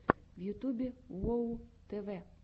в ютюбе уоу тв